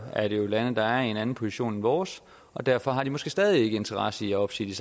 er det jo lande der er i en anden position end vores og derfor har de måske stadig ikke interesse i at opsige